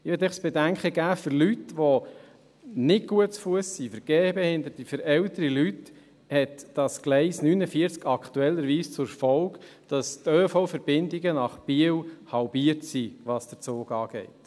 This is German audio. Für Leute, die nicht gut zu Fuss sind, für Gebehinderte, für ältere Leute, hat das Gleis 49 aktuell zur Folge, dass die ÖV-Verbindungen nach Biel halbiert sind, was den Zug anbelangt.